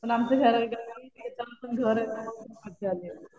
पण आमचं घर ना शेतामध्ये पण घर आहे ना. मजा आली.